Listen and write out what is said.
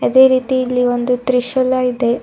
ಅದೇ ರೀತಿ ಇಲ್ಲಿ ಒಂದು ತ್ರೀಶೂಲ ಇದೆ.